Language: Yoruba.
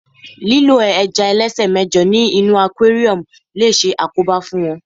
lílo ẹja ẹlẹsẹ mẹjọ ní inú aquarium lo se àkóbá fún wón